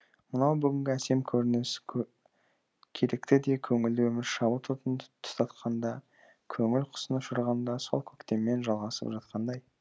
мынау бүгінгі әсем көрініс керікті де көңілді өмір шабыт отын тұтатқанда көңіл құсын ұшырғанда сол көктеммен жалғасып жатқандай